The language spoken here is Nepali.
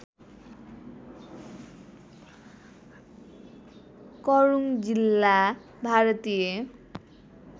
करुड़ जिल्ला भारतीय